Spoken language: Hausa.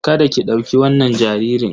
Kada ki ɗauki wannan jaririn!